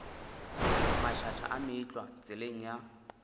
mašaša a meetlwa tseleng ya